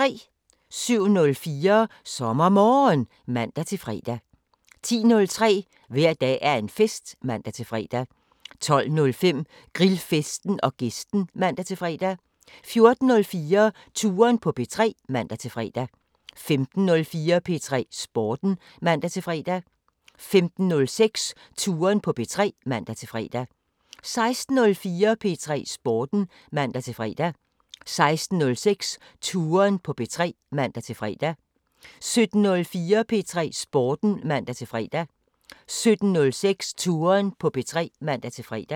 07:04: SommerMorgen (man-fre) 10:03: Hver dag er en fest (man-fre) 12:05: Grillfesten & Gæsten (man-fre) 14:04: Touren på P3 (man-fre) 15:04: P3 Sporten (man-fre) 15:06: Touren på P3 (man-fre) 16:04: P3 Sporten (man-fre) 16:06: Touren på P3 (man-fre) 17:04: P3 Sporten (man-fre) 17:06: Touren på P3 (man-fre)